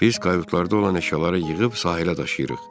Biz kayutlarda olan əşyaları yığıb sahilə daşıyırıq.